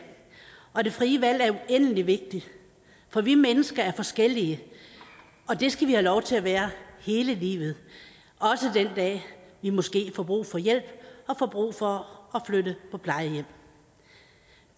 og det frie valg er uendelig vigtigt for vi mennesker er forskellige og det skal vi have lov til at være hele livet også den dag vi måske får brug for hjælp og får brug for at flytte på plejehjem